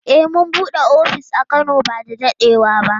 Eh mun bude ofis a Kano ba da dadewa ba.